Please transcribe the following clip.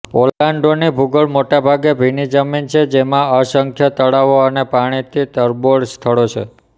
ઓર્લાન્ડોની ભૂગોળ મોટા ભાગે ભીનીજમીન છે જેમાં અસંખ્ય તળાવો અને પાણીથી તરબોળ સ્થળો છે